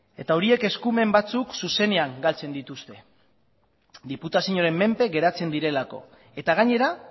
eta horiek eskumen batzuk zuzenean galtzen dituzte diputazioaren menpe geratzen direlako eta gainera